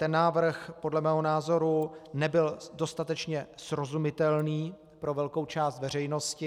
Ten návrh podle mého názoru nebyl dostatečně srozumitelný pro velkou část veřejnosti.